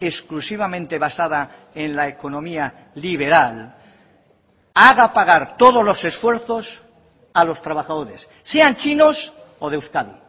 exclusivamente basada en la economía liberal haga pagar todos los esfuerzos a los trabajadores sean chinos o de euskadi